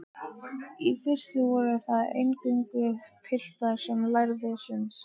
Í fyrstu voru það eingöngu piltar sem lærðu sund.